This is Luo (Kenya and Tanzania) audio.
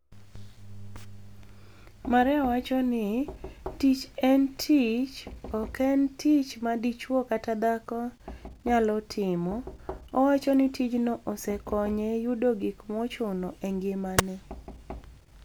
Maria wacho nii, "Tich eni tich, ok eni tich ma dichwo kata dhako niyalo timo. " Owacho nii tijno osekoniye yudo gik mochuno e nigimani e.